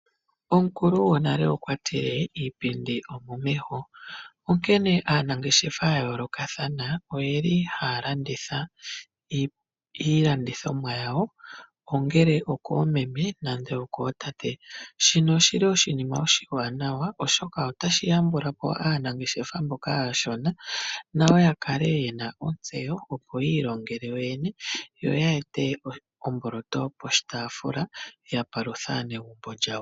Omukulu gonale okwa tile iipindi omomeho onkene aanangeshefa ya yoolokataha oyeli haya landitha iilandithomwa yawo, onele okoomeme nenge okootate. Shino oshili oshinima oshiwanawa oshoka otashi yambula po aanangeshefa mboka aashona nayo ya kale yena ontseyo opo yi ilongele yo yene. Yo ya ete omboloto poshitaafula ya paluthe aaanegumbo lyawo.